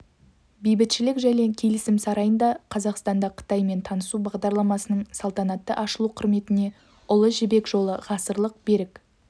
бейбітшілік және келісім сарайында қазақстанда қытаймен танысу бағдарламасының салтанатты ашылу құрметіне ұлы жібек жолы ғасырлық берік